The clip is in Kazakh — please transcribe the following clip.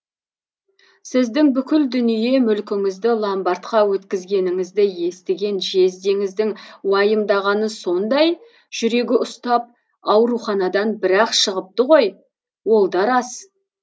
сіздің бүкіл дүние мүлкіңізді ломбардқа өткізгеніңізді естіген жездеңіздің уайымдағаны сондай жүрегі ұстап ауруханадан бірақ шығыпты ғой ол да рас